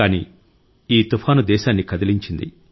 కానీ ఈ తుఫాను దేశాన్ని కదిలించింది